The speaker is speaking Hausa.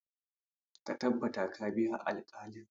Ka tabbata ka biya alkalin!